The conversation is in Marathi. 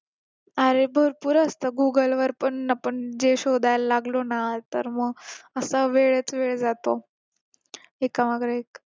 अरे भरपूर असत google वर पण आपण जे शोधायला लागलो ना तर मग असा वेळच वेळ जातो एका मागे एक